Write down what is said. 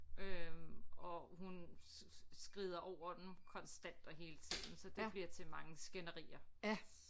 Øh og hun skrider over den konstant og hele tiden så det bliver til mange skænderier